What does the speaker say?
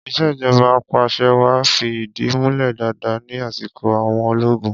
Ìṣèjọba apàṣẹwàá fi ìdí múlẹ̀ dáadáa ní asiko àwọn ológun.